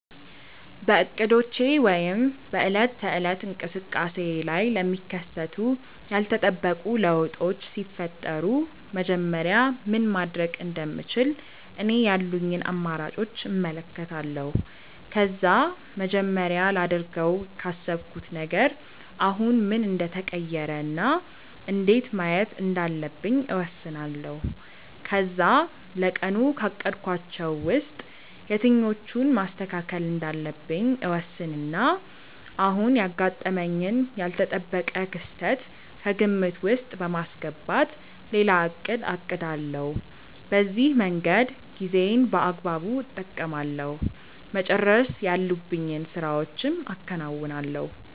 በእቅዶቼ ወይም በዕለት ተዕለት እንቅስቃሴዬ ላይ ለሚከሰቱ ያልተጠበቁ ለውጦች ሲፈጠሩ መጀመሪያ ምን ማድረግ እንደምችል እኔ ያሉኝን አማራጮች እመለከታለሁ። ከዛ መጀመሪያ ላደርገው ካሰብኩት ነገር አሁን ምን እንደተቀየረ እና እንዴት ማየት እንዳለብኝ እወስናለሁ። ከዛ ለቀኑ ካቀድኳቸው ውስጥ የትኞቹን ማስተካከል እንዳለብኝ እወስንና አሁን ያጋጠመኝን ያልተጠበቀ ክስተት ከግምት ውስጥ በማስገባት ሌላ እቅድ አቅዳለሁ። በዚህ መንገድ ጊዜዬን በአግባቡ እጠቀማለሁ፤ መጨረስ ያሉብኝን ስራዎችም አከናውናለሁ።